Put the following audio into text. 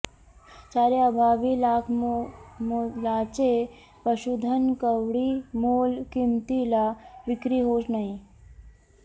चार्याअभावी लाखमोलाचे पशुधन कवडीमोल किमतीला विक्री होऊ नये